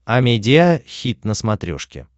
амедиа хит на смотрешке